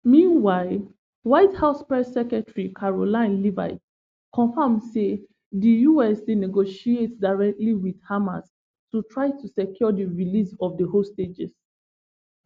meanwhile white house press secretary karoline leavitt confam say di us dey negotiate directly wit hamas to try to secure di release of di hostages